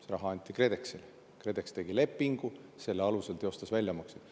See raha anti KredExile ja KredEx tegi lepingu, mille alusel teostas väljamaksed.